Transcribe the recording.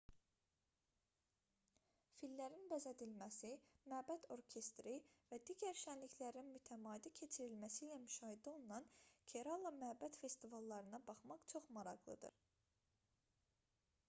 fillərin bəzədilməsi məbəd orkestri və digər şənliklərin mütəmadi keçirilməsi ilə müşahidə olunan kerala məbəd festivallarına baxmaq çox maraqlıdır